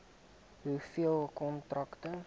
hoeveel kontrakte